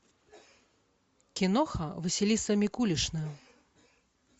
киноха василиса микулишна